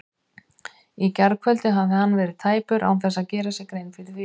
Í gærkvöld hafði hann verið tæpur án þess að gera sér grein fyrir því.